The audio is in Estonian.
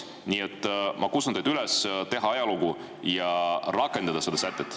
Nii et ma kutsun teid üles tegema ajalugu ja rakendama seda sätet.